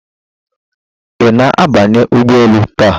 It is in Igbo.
Ị na-abanye ụgbọ elu taa?